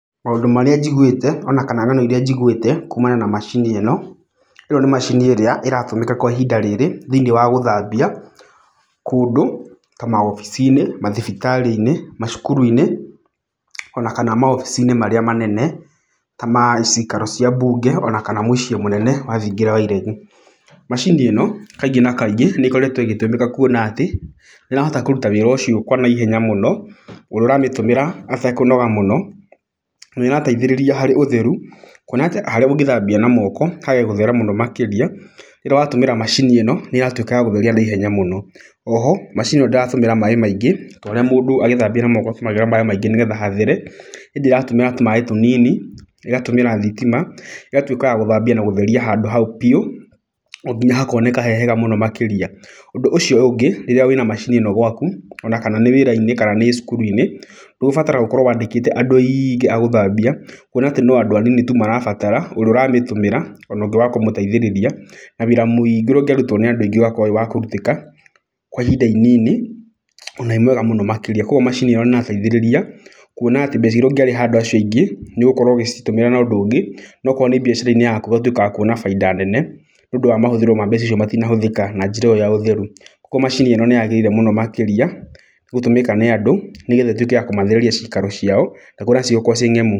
Maũndũ marĩa njiguĩte ona kana ng'ano irĩa njiguĩte kuumana na macini ĩno, ĩno nĩ macini ĩrĩa ĩratũmĩka kwa ihinda rĩrĩ thĩiniĩ wa gũthambia kũndũ ta mawobici-inĩ, mathibitarĩ-inĩ, macukuru-inĩ ona kana mawobici-inĩ marĩa manene ta ma cikaro cia mbunge ona kana mũciĩ mũnene wa thingira wa iregi. Macini ĩno kaingĩ na kaingĩ nĩ ĩkoretwo ĩgĩtũmĩka kuona atĩ nĩ ĩrahota kũruta wĩra ũcio kwa naihenya mũno, ũrĩa ũramĩtũmĩra atakũnoga mũno, na nĩ ĩrateithĩrĩria harĩ ũtheru. Kuona atĩ harĩa ũngĩthambia na moko hage gũthera mũno makĩria, rĩrĩa watũmĩra macini ĩno, nĩ ĩratuĩka ya gũtheria naihenya mũno. O ho macini ĩno ndĩratũmĩra maaĩ maingĩ ta ũrĩa mũndũ agĩthambia na moko atũmĩraga maaĩ maingĩ nĩgetha hathere, ĩndĩ ĩratũmĩra tũmaaĩ tũnini, ĩgatũmĩra thitima, ĩgatuĩka ya gũtheria handũ hau biũ o nginya hakoneka he hega mũno makĩria. Ũndũ ũcio ũngĩ, rĩrĩa wĩna macini ĩno gwaku ona kana nĩ wĩra-inĩ kana nĩ cukuru-inĩ, ndũbataraga ũkorwo wandĩkĩte andũ aingĩ a gũthambia. Kuona atĩ no andũ anini tu marabatara, ũrĩa ũramĩtũmĩra ona ũngĩ wa kũmũteithĩrĩria. Na wĩra muingĩ urĩa ũngĩarutwo nĩ andũ aingĩ ũgakorwo wĩ wa kũrutĩka kwa ihinda inini ona wĩ mwega mũno makĩria. Koguo macini ĩyo nĩ ĩrateithĩrĩria kuona atĩ mbeca irĩa ũngĩarĩha andũ acio aingĩ, nĩ ũgũkorwo ũgĩcitũmĩra na ũndũ ungĩ. Na okorwo nĩ biacara-inĩ yaku ũgatuĩka wa kuona bainda nene, nĩ ũndũ wa mahũthĩro wa mbeca icio matinahũthĩka na njĩra ĩyo ya ũtheru. Koguo macini ĩno nĩ yagĩrĩire mũno makĩrĩa gũtũmĩka nĩ andũ, nĩgetha ĩtuĩke kũmathereria ciikaro ciao ciĩ ngemu...